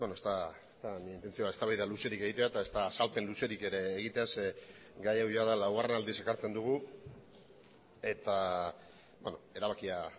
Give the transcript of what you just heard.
nire intentzioa ez da eztabaida luzerik egitea ezta azalpen luzerik ere egitea zeren eta gai hau jada laugarren aldiz ekartzen dugu eta erabakia